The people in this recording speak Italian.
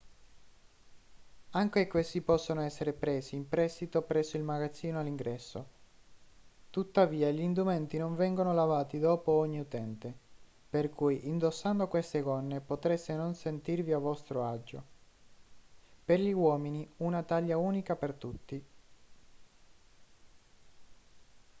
anche questi possono essere presi in prestito presso il magazzino all'ingresso tuttavia gli indumenti non vengono lavati dopo ogni utente per cui indossando queste gonne potreste non sentirvi a vostro agio per gli uomini una taglia unica per tutti